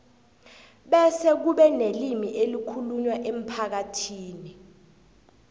bese kube nelimi elikhulunywako emphakathini